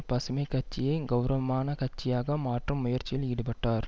பசுமை கட்சியை கெளரவமான கட்சியாக மாற்றும் முயற்சியில் ஈடுபட்டார்